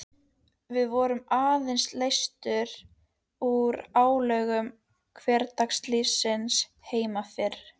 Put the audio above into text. Við vorum einsog leystar úr álögum hversdagslífsins heimafyrir